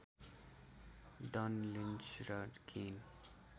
done Lynch र केन